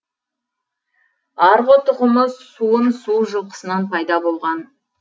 арғы тұқымы суын су жылқысынан пайда болған